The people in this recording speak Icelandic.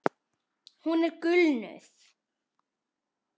Hún er gulnuð.